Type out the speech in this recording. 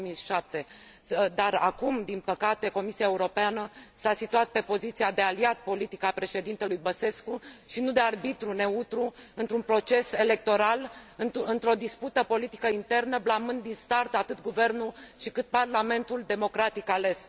2007. Dar acum, din păcate, Comisia Europeană s a situat pe poziția de aliat politic al președintelui Băsescu și nu de arbitru neutru într un proces electoral, într o dispută politică internă, blamând din start atât guvernul, cât și parlamentul democratic ales.